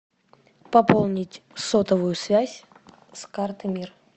пополнить сотовую связь с карты мир